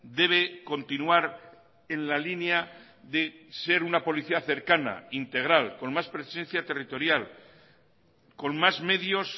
debe continuar en la línea de ser una policía cercana integral con más presencia territorial con más medios